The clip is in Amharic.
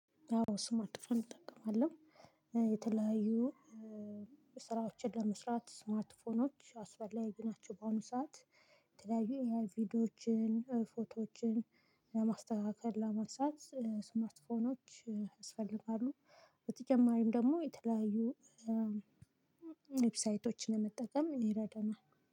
አዎ ስማርትፎን እጠቀማለሁ። የተለያዩ ስራዎችን ለመስራት ስማርትፎኖች አስፈላጊ ናቸው። በአሁኑ ሰዓት የተለያዩ የቪዲዮዎችን ፎቶዎችን ለማስተካከል ለማንሳት ስማርት ፎኖች ያስፈልጋሉ። በተጨማሪም ደግሞ የተለያዩ ዌብሳይቶችን ለመጠቀም ይረዳናል